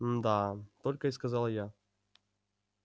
мда только и сказала я